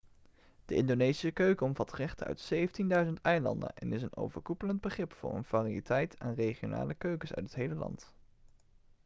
de indonesische keuken omvat gerechten uit 17.000 eilanden en is een overkoepelend begrip voor een variëteit aan regionale keukens uit het hele land